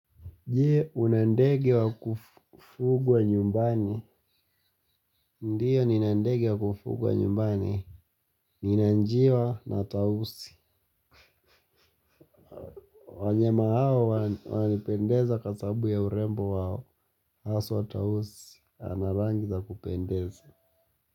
Je una ndege wa kufugwa nyumbani. Ndiyo nina ndege wa kufugwa nyumbani. Nina njiwa na tausi. Wanyama hawa wananipendeza kwa sabu ya urembo wao. Haswa tausi. Ana rangi za kupendeza.